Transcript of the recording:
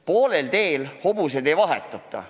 Poolel teel hobuseid ei vahetata.